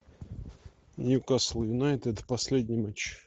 ньюкасл юнайтед последний матч